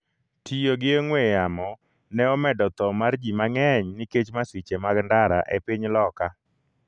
Tiyo gi ong'we yamo ne omedo tho mar ji mang’eny nikech masiche mag ndara e piny loka